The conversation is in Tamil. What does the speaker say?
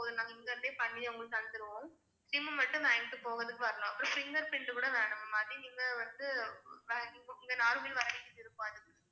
இப்போது நாங்க இங்க இருந்தே பண்ணி உங்களுக்கு தந்திருவோம் SIM மட்டும் வாங்கிட்டு போகறதுக்கு வரணும் அப்புறம் finger print கூட வேணும் ma'am அது நீங்க வந்து இங்க நாகர்கோயில் வர வேண்டியது இருக்கும் அதுக்கு